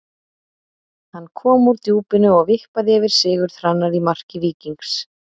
Hann kom úr djúpinu og vippaði yfir Sigurð Hrannar í marki Víkings.